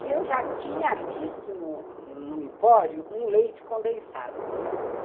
E eu já tinha visto no no Empório um leite condensado.